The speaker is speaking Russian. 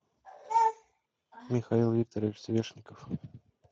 михаил викторович свешников